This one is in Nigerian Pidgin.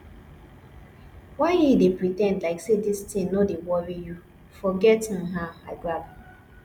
why you dey pre ten d like say dis thing no dey worry you forget um am i grab